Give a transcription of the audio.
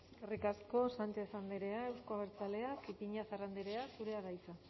eskerrik asko sánchez andrea euzko abertzaleak ipiñazar andrea zurea da hitza